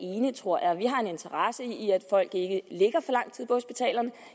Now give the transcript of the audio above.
enige tror jeg vi har en interesse i at folk ikke ligger for lang tid på hospitalerne